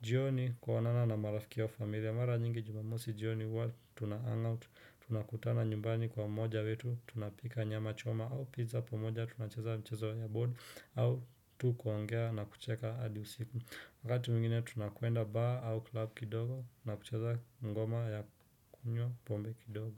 jioni kuonana na marafiki wa familia mara nyingi jumamosi jioni huwa tuna hang out tunakutana nyumbani kwa mmoja wetu tunapika nyama choma au pizza pamoja tunacheza mchezo ya board au tu kuongea na kucheka adi usiku wakati mwingine tunakwenda bar au club kidogo na kucheza ngoma ya kunywa pombe kidogo.